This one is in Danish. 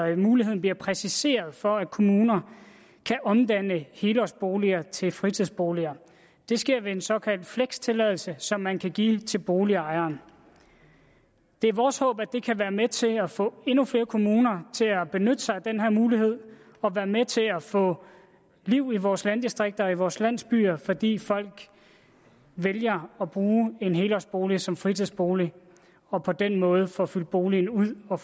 eller muligheden bliver præciseret for at kommunerne kan omdanne helårsboliger til fritidsboliger det sker ved en såkaldt flextilladelse som man kan give til boligejerne det er vores håb at det kan være med til at få endnu flere kommuner til at benytte sig af den her mulighed og være med til at få liv i vores landdistrikter og i vores landsbyer fordi folk vælger at bruge en helårsbolig som fritidsbolig og på den måde får fyldt boligen ud og